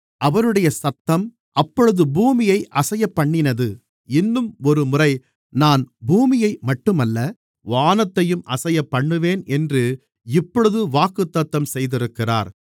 அவருடைய சத்தம் அப்பொழுது பூமியை அசையப்பண்ணினது இன்னும் ஒருமுறை நான் பூமியை மட்டுமல்ல வானத்தையும் அசையப்பண்ணுவேன் என்று இப்பொழுது வாக்குத்தத்தம் செய்திருக்கிறார்